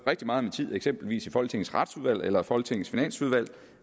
rigtig meget tid eksempelvis i folketingets retsudvalg eller i folketingets finansudvalg